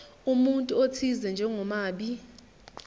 umuntu othize njengomabi